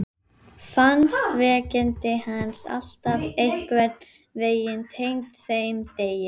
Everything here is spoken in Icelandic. Fannst veikindi hans alltaf einhvern veginn tengd þeim degi.